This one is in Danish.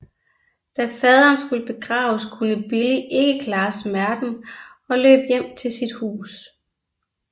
Da faderen skulle begraves kunne Billie ikke klare smerten og løb hjem til sit hus